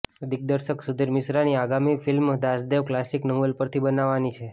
દિગ્દર્શક સુધીર મિશ્રાની આગામી ફિલ્મ દાસદેવ કલાસિક નોવેલ પરથી બનવાની છે